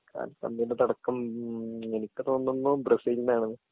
കാൽപ്പന്തിൻ്റെ തുടക്കം എനിക്ക് തോന്നുന്നു ബ്രസീൽലാണ്